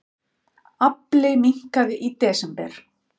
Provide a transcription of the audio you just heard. Afli minnkaði í desember